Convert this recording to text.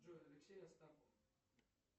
джой алексей остапов